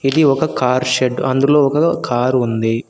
ఇది ఒక car shed అందులో ఒక కారు ఉంది.